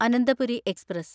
Ananthapuri express